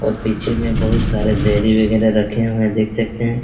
और पीछे में बहोत सारे देरी वगैरह रखे हुए हैं देख सकते हैं।